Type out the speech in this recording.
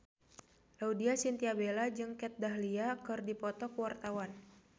Laudya Chintya Bella jeung Kat Dahlia keur dipoto ku wartawan